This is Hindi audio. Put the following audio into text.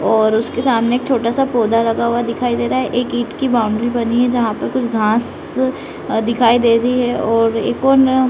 और उसके सामने एक छोटा सा पौधा लगा हुआ दिखाई दे रहा है एक ईट की बाउंड्री बनी है जहाँ पर कुछ घास्स दिखाई दे रही है और एक और --